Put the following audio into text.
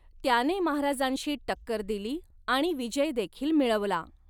त्याने महाराजांशी टक्कर दिली आणि विजयदेखील मिळवला.